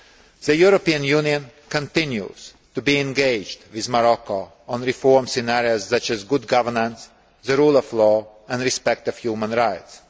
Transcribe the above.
The European Union continues to be engaged with Morocco on reforms in areas such as good governance, the rule of law and respect for human rights.